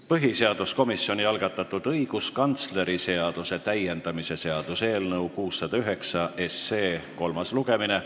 Põhiseaduskomisjoni algatatud õiguskantsleri seaduse täiendamise seaduse eelnõu 609 kolmas lugemine.